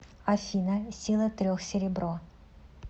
афина сила трех серебро